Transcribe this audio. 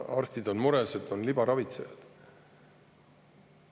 Arstid on mures, et on libaravitsejad.